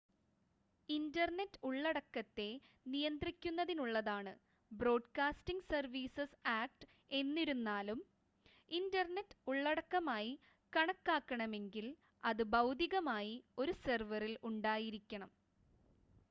internet ഉള്ളടക്കത്തെ നിയന്ത്രിക്കുന്നതിനുള്ളതാണ് broadcasting services act എന്നിരുന്നാലും ഇൻ്റർനെറ്റ് ഉള്ളടക്കമായി കണക്കാക്കണമെങ്കിൽ അത് ഭൗതികമായി ഒരു സെർവറിൽ ഉണ്ടായിരിക്കണം